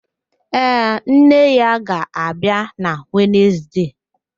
Ee, nne ya ga-abịa na Wenezde.